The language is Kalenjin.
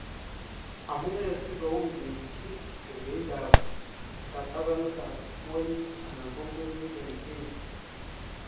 Amunee sikowuui keityi kerkeindap katabanetab kwonyik anan ko murenik en kenya ?